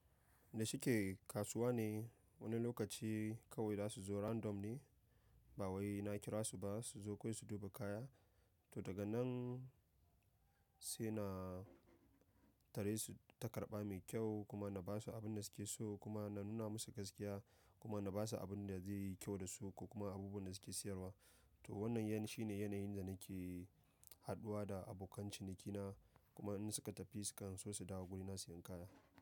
Me shi ke kasuwa ne, wani lokaci kawai za su zo random ne ba wai na kira su ba su zo kawai su duba kaya. To daga nan sai na tare su ta karɓa me kyau kuma na basu abunda suke so kuma na nuna masu gaskiya kuma na basu abunda ze yi kyau dasu ko kuma abubuwan da suke siyarwa. To wannan ya shine yanayin da nake haduwa da abokan cinikina. Kuma in suka tafi sukan so su dawo gurina siyan kaya.